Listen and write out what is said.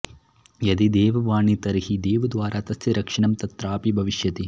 यदि देववाणी तर्हि देवद्वारा तस्य रक्षणं तत्रापि भविष्यति